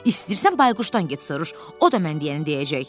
İstəyirsən bayquşdan get soruş, o da mən deyəni deyəcək.